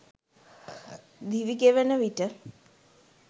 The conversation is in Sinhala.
දිවිගෙවෙන විට